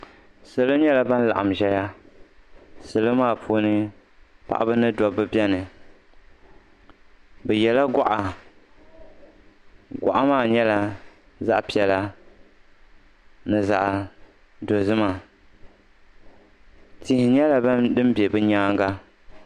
Salo nyɛla ban laɣim zaya salo maa puuni paɣiba ni dobba beni bɛ yela gɔɣa gɔɣa maa nyɛla zaɣ'piɛla ni zaɣ'dozima tihi nyɛla din be bɛ nyaaŋa.